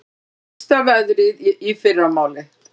Versta veðrið í fyrramálið